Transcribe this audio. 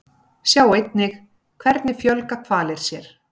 Sjá einnig Hvernig fjölga hvalir sér?